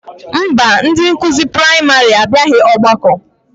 Mba, ndị nkụzi praịmarị abịaghị ọgbakọ